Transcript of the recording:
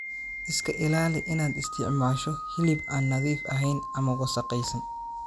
Iska ilaali inaad isticmaasho hilib aan nadiif ahayn ama wasakhaysan.